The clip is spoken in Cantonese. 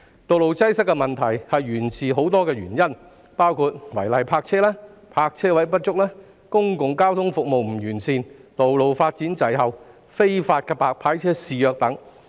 道路擠塞的問題源於多項因素，包括違例泊車、泊車位不足、公共交通服務不完善、道路發展滯後、非法"白牌車"肆虐等。